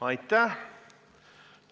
Aitäh!